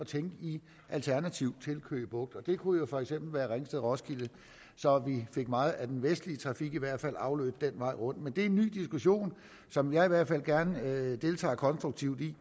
tænke i alternativer til køge bugt og det kunne jo for eksempel være ringsted roskilde så meget af den vestlige trafik i hvert fald fik afløb den vej rundt men det er en ny diskussion som jeg i hvert fald gerne deltager konstruktivt i